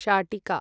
शाटिका